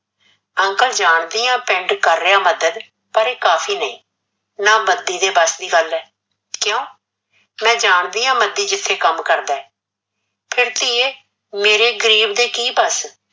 uncle ਜਾਣਦੀ ਆ ਪਿੰਡ ਕਰ ਰੀਆ ਮੱਦਦ ਪਰ ਇਹ ਕਾਫੀ ਨਹੀਂ, ਨਾਂ ਏ ਮਦੀ ਦੇ ਬਸ ਦੀ ਗੱਲ ਏ, ਕੀਓ ਮੈ ਜਾਣਦੀ ਆ ਮਦੀ ਜਿੱਥੇ ਕਮ ਕਰਦਾ ਏ, ਫਿਰ ਧੀਏ ਮੇਰੇ ਗਰੀਬ ਦੇ ਕੀ ਬਸ